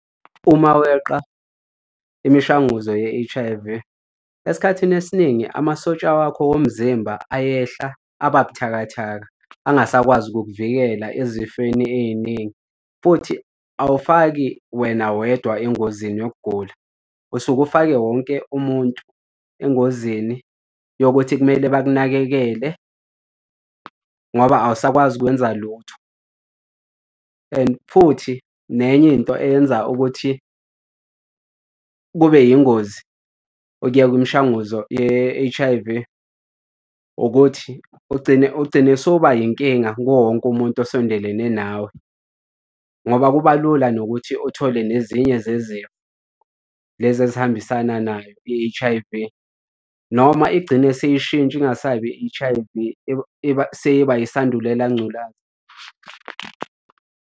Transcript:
Uma weqa imishanguzo ye-H_I_V, esikhathini esiningi amasosha wakho womzimba ayehla aba buthakathaka, angasakwazi kukuvikela ezifeni ey'ningi. Futhi awufaki wena wedwa engozini yokugula, usuke ufake wonke umuntu engozini yokuthi kumele bakunakekele ngoba awusakwazi kwenza lutho. And futhi nenye into eyenza ukuthi kube yingozi okuyeka umshanguzo ye-H_I_V ukuthi ugcine, ugcine sowuba yinkinga kuwo wonke umuntu osondelene nawe ngoba kuba lula nokuthi othole nezinye zezinto lezi ezihambisana nayo i-H_I_V, noma igcine seyishintsha ingasabi i-H_I_V seyiba yisandulela ngculaza.